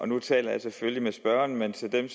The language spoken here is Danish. nu taler jeg selvfølgelig med spørgeren men til dem